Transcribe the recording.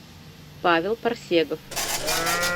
павел парсегов